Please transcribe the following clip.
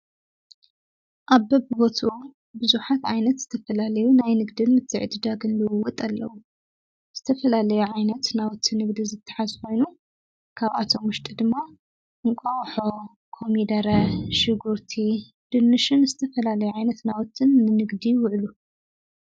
ኣብ በብቦቱኡ ብዙኃት ኣይነት ዝተፈላለዩ ናይ ንግድን ምትዕድ ዳግንልዉወጥ ኣለዉ ዝተፈላለይ ዓይነት ናወትን ንግዲ ዘተሓስባኑ ካብኣቶም ሙሽጢ ድማ ንቋወሖ ኮሚደረ ሽጉርቲ ድንሽን ዝተፈላለይ ዓይነት ናወትን ንንግዲ ይውዕሉ።